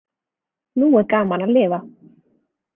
Nú er gaman að lifa.